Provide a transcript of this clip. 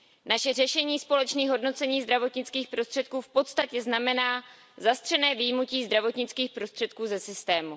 Naše řešení společných hodnocení zdravotnických prostředků v podstatě znamená zastřené vyjmutí zdravotnických prostředků ze systému.